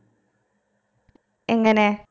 എങ്ങനെ